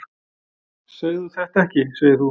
"""Segðu þetta ekki, segir þú."""